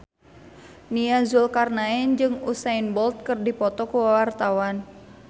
Nia Zulkarnaen jeung Usain Bolt keur dipoto ku wartawan